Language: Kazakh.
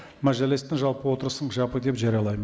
мәжілістің жалпы отырысын жабық деп жариялаймын